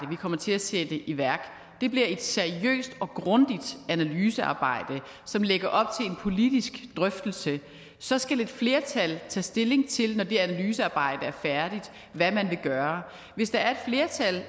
vi kommer til at sætte i værk bliver et seriøst og grundigt analysearbejde som lægger op til en politisk drøftelse så skal et flertal tage stilling til når det analysearbejde er færdigt hvad man vil gøre hvis der er et flertal